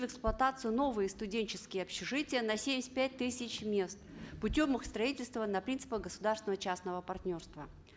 в эксплуатацию новые студенческие общежития на семьдесят пять тысяч мест путем их строительства на принципах государственного и частного партнерства